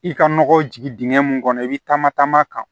I ka nɔgɔ jigin dingɛ mun kɔnɔ i bɛ taama taama kan